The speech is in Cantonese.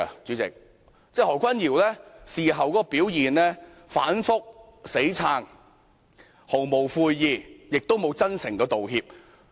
然而，他在事後表現反覆、硬撐、毫無悔意，亦無真誠道歉。